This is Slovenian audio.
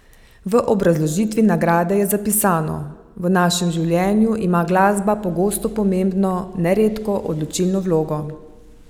V obrazložitvi nagrade je zapisano: "V našem življenju ima glasba pogosto pomembno, neredko odločilno vlogo.